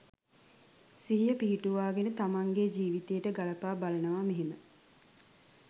සිහිය පිහිටුවාගෙන තමන්ගේ ජීවිතයට ගලපා බලනවා මෙහෙම.